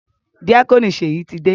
Díákónì Ṣèyí ti dé.